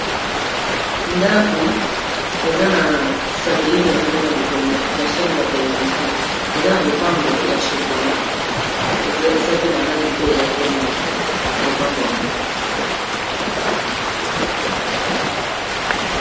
Ndako eza na satellite nango kuna likolo ya chaine ya ba television, eza na lopango ya chocolat eza pe na langi pe ya pembe lopango yango.